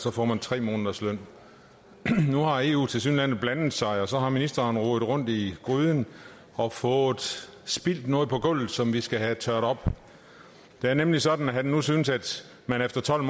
år får man tre måneders løn nu har eu tilsyneladende blandet sig og så har ministeren rodet rundt i gryden og fået spildt noget på gulvet som vi skal have tørret op det er nemlig sådan at han nu synes at man efter tolv